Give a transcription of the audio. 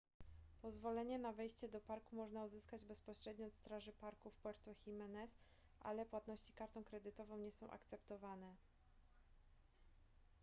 pozwolenie na wejście do parku można uzyskać bezpośrednio od straży parku w puerto jimenez ale płatności kartą kredytową nie są akceptowane